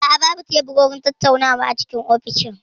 A'a, babu teburin tattaunawa a ofishin.